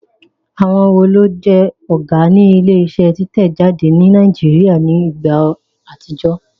Àwọn wo ló jẹ́ Ọ̀gá ní ilé iṣẹ́ títẹ̀ jáde ní Nàìjíríà ní ìgbà àtijọ́?